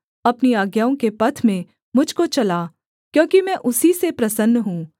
अपनी आज्ञाओं के पथ में मुझ को चला क्योंकि मैं उसी से प्रसन्न हूँ